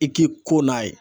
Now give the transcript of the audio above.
I k'i ko n'a ye